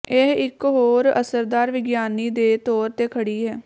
ਇਹ ਇੱਕ ਹੋਰ ਅਸਰਦਾਰ ਵਿਗਿਆਨੀ ਦੇ ਤੌਰ ਤੇ ਖੜੀ ਹੈ